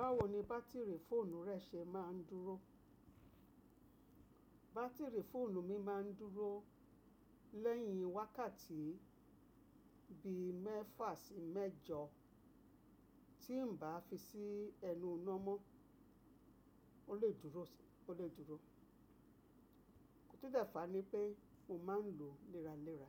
Báwo ni bátìrì fóònù rẹ ṣe máa ń dúró? Bátìrì fóònù mi máa ń dúró lẹ́yìn wákàtí bi mẹ́fà sí mẹ́jọ, tí n bá fi sí ẹnu iná mọ́, ó lè dúró, ó lè dúró. Ó to dẹ́fà ni pé mo máa ń lòó léraléra.